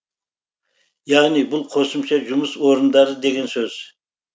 яғни бұл қосымша жұмыс орындары деген сөз